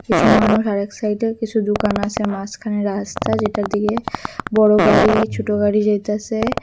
কিছু মানুষ আর এই সাইডে কিছু দুকান আছে মাঝখানে রাস্তা যেটার দিকে বড় গাড়ি ছুটো গাড়ি যাইতাসে।